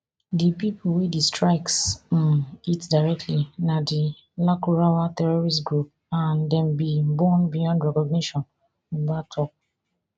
di pipo wey di strikes um hit directly na di lakurawa terrorist group and dem bin burn beyond recognition buba tok